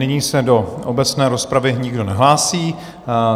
Nyní se do obecné rozpravy nikdo nehlásí.